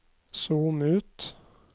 zoom ut